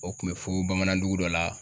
O kun bɛ fo bamanan dugu dɔ la.